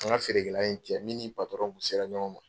An ka feerekɛla in cɛ, min ni kun sera ɲɔgɔn ma.